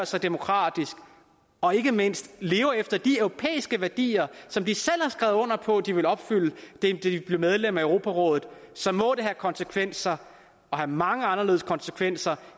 sig demokratisk og ikke mindst lever efter de europæiske værdier som de selv har skrevet under på de vil opfylde da de blev medlem af europarådet så må det have konsekvenser og mange anderledes konsekvenser